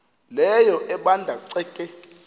leyo ebanda ceke